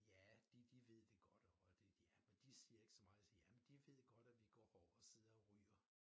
Ja de de ved det godt og det ja men de siger ikke så meget så jamen de ved godt vi går herovre og sidder og ryger